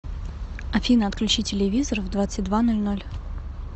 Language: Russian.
афина отключи телевизор в двадцать два ноль ноль